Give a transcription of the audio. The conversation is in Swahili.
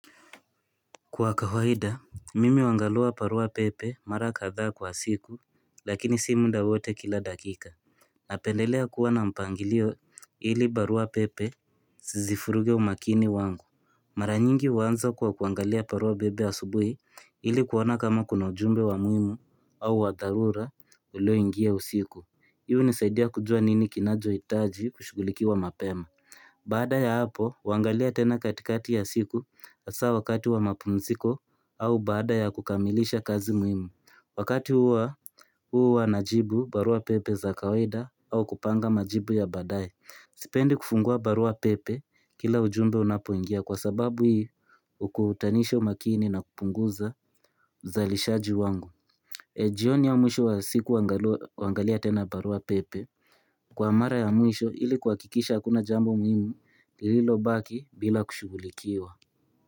Kwa kawaida mimi huangalia barua pepe mara kadhaa kwa siku lakini sii muda wote kila dakika. Napendelea kuwa na mpangilio ili barua pepe zisivuruge umakini wangu Mara nyingi huanza kuwa kuangalia barua pepe asubuhi ili kuona kama kuna ujumbe wa muhimu au wa dharura ulioingia usiku. Hii hunisaidia kujua nini kinachohitaji kushugulikiwa mapema Baada ya hapo, huangalia tena katikati ya siku, hasa wakati wa mapumziko, au baada ya kukamilisha kazi muhimu. Wakati hua, huu uwa najibu, barua pepe za kawaida, au kupanga majibu ya baadaye. Sipendi kufungua barua pepe, kila ujumbe unapoingia kwa sababu hii, hukutanisha makini na kupunguza uzalishaji wangu. Na jioni au mwisho wa siku huangalia tena barua pepe kwa mara ya mwisho ili kuhakikisha hakuna jambo muhimu lililobaki bila kushughulikiwa.